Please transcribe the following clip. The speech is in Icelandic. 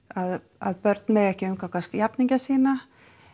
að að börn mega ekki umgangast jafningja sína